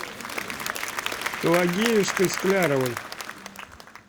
пелагеюшкой скляровой